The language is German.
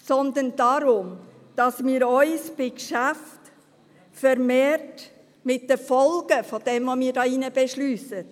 Es geht mir darum, dass wir uns bei Geschäften vermehrt mit den Folgen dessen auseinandersetzen, was wir hier drin beschliessen.